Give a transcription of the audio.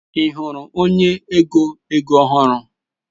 Ị hụrụ onye ego ego ọhụrụ?